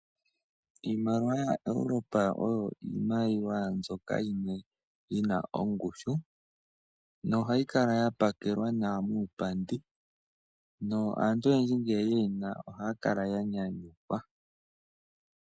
Iimaliwa yaEuropa oyo iimaliwa mbyoka yimwe yina ongushu nohayi kala ya pakelwa nawa muupandi naantu oyendji ngele ye yi na ohaya kala ya nyanyukwa.